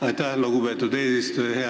Aitäh, lugupeetud eesistuja!